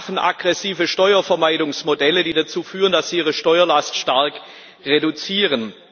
Sie haben aggressive Steuervermeidungsmodelle, die dazu führen, dass sie ihre Steuerlast stark reduzieren.